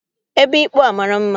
Ebe ịkpụ a mara mma